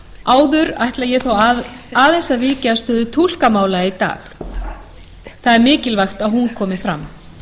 áður ætla ég þó aðeins að víkja að stöðu túlkamála í dag það er mikilvægt að hún komi fram